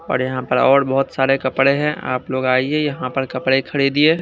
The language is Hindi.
औड़ यहां पर औड़ बहोत सारे कपड़े हैं आप लोग आइए यहां पर कपड़े खड़िदीये ।